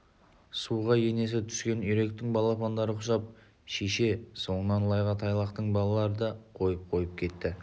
суға енесі түскен үйректің балапандары құсап шеше соңынан лайға тайлақтың балалары да қойып-қойып кетті